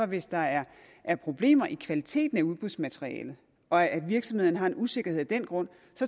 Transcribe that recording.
hvis der er er problemer i kvaliteten af udbudsmaterialet og virksomhederne har en usikkerhed af den grund